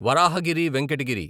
Varahagiri Venkata Giri